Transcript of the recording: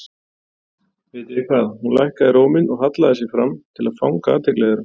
Vitið þið hvað. Hún lækkaði róminn og hallaði sér fram til að fanga athygli þeirra.